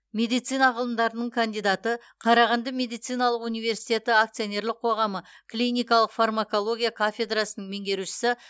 медицина ғылымдарының кандидаты қарағанды медициналық университеті акционерлік қоғамы клиникалық фармакология кафедрасының меңгерушісі